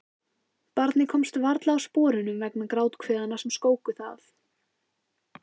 Barnið komst varla úr sporunum vegna gráthviðanna sem skóku það.